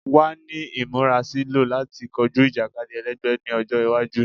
Wa ni imurasilọ lati koju ijakadi ẹlẹgbẹ ni ọjọ iwaju